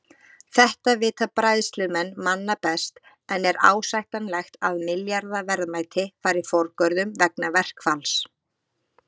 Þetta vita bræðslumenn manna best en er ásættanlegt að milljarða verðmæti fari forgörðum vegna verkfalls?